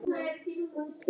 Hann vissi ekkert.